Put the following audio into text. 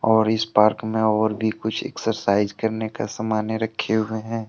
और इस पार्क में और भी कुछ एक्सरसाइज करने का समाने रखे हुए हैं।